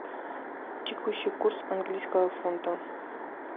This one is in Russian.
текущий курс английского фунта